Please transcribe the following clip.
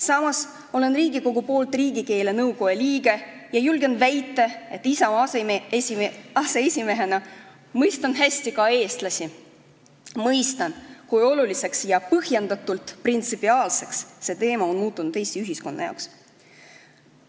Samas olen Riigikogu esindajana riigikeele nõukojas ja julgen väita, et Isamaa aseesimehena mõistan hästi ka eestlasi, mõistan, kui oluliseks ja põhjendatult printsipiaalseks see teema on Eesti ühiskonna jaoks muutunud.